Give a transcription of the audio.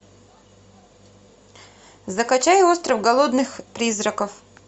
закачай остров голодных призраков